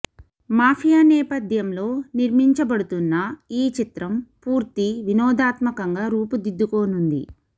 mafia నేపధ్యం లో నిర్మిమపబడుతున్న ఈ చిత్రం పూర్తి వినోదాత్మకంగా రూపుదిద్దుకోనుంది